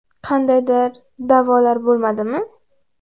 Qandaydir da’volar bo‘lmadimi?